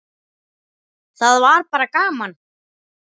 Það var bara gaman!